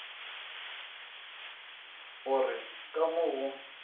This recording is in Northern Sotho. go re ka mo go